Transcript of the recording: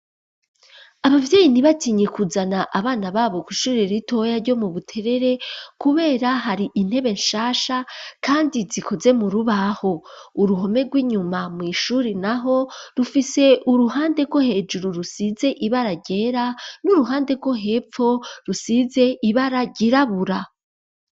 Abavyeyi, ntibatinye kuzana, abana babo, kw'ishure ritoya, ryo mu Buterere; kubera, hari intebe nshasha, kandi zikoze mu rubaho; uruhome rw'inyuma, mw'ishuri naho, rufise uruhande rwo hejuru, rusize ibara ryera, n'uruhande rwo hepfo, rusize ibara ryirabura.